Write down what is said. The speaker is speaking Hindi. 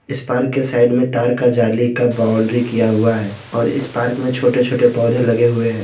इस पार्क के साइड में तार का जाली का बाउंड्री किया हुआ है और इस पार्क में छोटे छोटे पौधे लगे हुए हैं।